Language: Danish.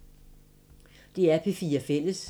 DR P4 Fælles